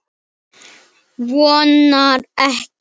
Hann vonar ekki.